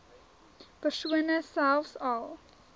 persone selfs al